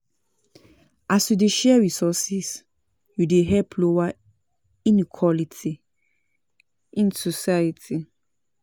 as yu dey share resources, yu dey help lower inequality in society.